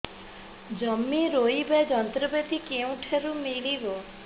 ଜମି ରୋଇବା ଯନ୍ତ୍ରପାତି କେଉଁଠାରୁ ମିଳିବ